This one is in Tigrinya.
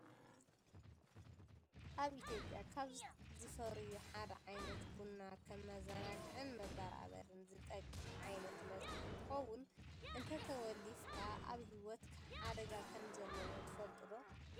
ኣብ ኢትዮጵያ ካብ ዝፈርዩ ሓደ ዝኮነ ቡና ከመዘናግዕን መበራበርን ዝጠቅም ዓይነት መስተ እንትከውን፣ እንተተወሊፍካ ኣብ ሂወትካ ሓደጋ ከም ዘለዎ ትፈልጡ ዶ?